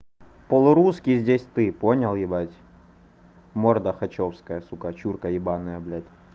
полурусский здесь ты понял ебать морда хачёвская сука чурка ебаная блядь